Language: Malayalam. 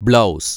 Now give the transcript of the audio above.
ബ്ലൗസ്